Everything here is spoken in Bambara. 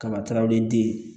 Kaba tɛrɛw ye den